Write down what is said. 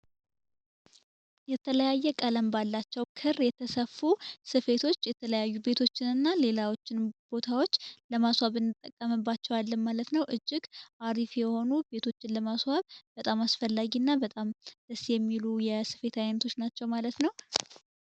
የተለያየ ቀለም ባላቸው ክር ቤተሰቡ ስፌቶች የተለያዩ ቤቶችን እና ሌላዎችን ቦታዎች ለማስዋብን ማለት ነው። እጅግ አሪፍ የሆኑትን ለማስዋብ በጣም አስፈላጊና በጣም ደስ የሚሉ የሲቪል አይነቶች ናቸው።